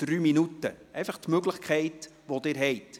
Dies sind die Möglichkeiten, die Sie haben.